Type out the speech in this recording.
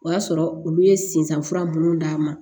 O y'a sɔrɔ olu ye sinsan fura minnu d'a ma